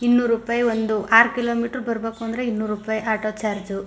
ಇನ್ನೂರು ರೂಪಾಯಿ ಒಂದು ಆರ್ ಕಿಲೋಮೀಟರ್ ಬರ್ ಬೇಕು ಅಂದ್ರೆ ಇನ್ನೂರ ರೂಪಾಯಿ ಆಟೋ ಚಾರ್ಜ್ .